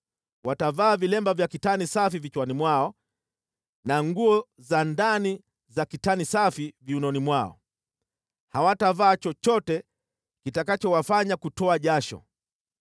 Watavaa vilemba vya kitani safi vichwani mwao na nguo za ndani za kitani safi viunoni mwao. Hawatavaa chochote kitakachowafanya kutoa jasho.